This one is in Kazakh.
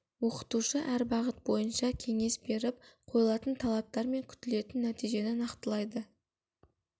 оқытушы әр бағыт бойынша кеңес беріп қойылатын талаптар мен күтілетін нәтижені нақтылайды